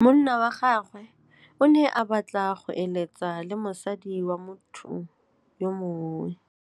Monna wa gagwe o ne a batla go êlêtsa le mosadi wa motho yo mongwe.